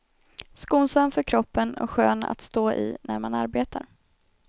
Skonsam för kroppen och skön att stå i när man arbetar.